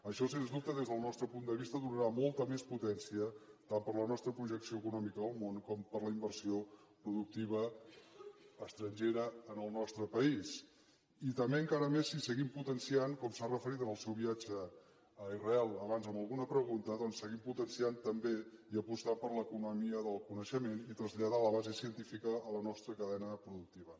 això sens dubte des del nostre punt de vista donarà molta més potència tant per a la nostra projecció econòmica al món com per a la inversió productiva estrangera en el nostre país i també encara més si seguim potenciant com s’hi ha referit en el seu viatge a israel abans en alguna pregunta doncs també i apostant per l’economia del coneixement i traslladar la base científica a la nostra cadena productiva